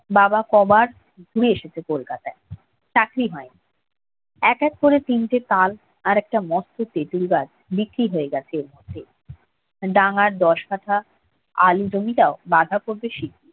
বাবা কবার ঘুরে এসেছে কলকাতায়, চাকরি হয়নি এক এক করে তিনটি তাল একটা মস্ত তেতুল গাছ বিক্রি হয়ে গেছে এর মধ্যেই ডাঙ্গার দশ কাটা আলু জমিটাও বাঁধাকপির